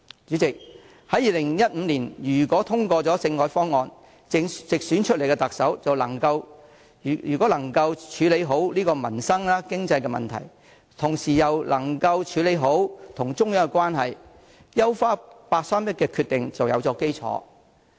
主席，如果在2015年通過政改方案，直選出來的特首又能夠處理好民生、經濟的問題，同時也能處理好與中央的關係的話，優化八三一決定便有基礎。